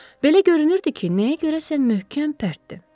Belə görünürdü ki, nəyə görəsə möhkəm pərtdir.